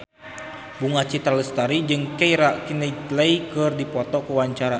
Bunga Citra Lestari jeung Keira Knightley keur dipoto ku wartawan